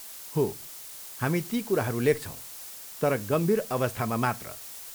हो, हामी ती कुराहरू लेख्छौँ, तर गम्भीर अवस्थामा मात्र।